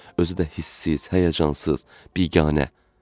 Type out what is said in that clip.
Özü də hissiz, həyəcansız, biganə.